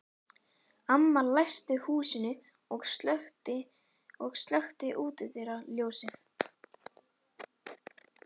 Amma læsti húsinu og slökkti útidyra- ljósið.